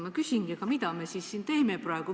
Ma küsingi: mida me siis siin teeme praegu?